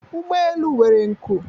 ụgbọ elu nwere nku